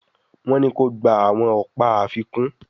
Wón ní kò gbà àwọn ọpa àfikún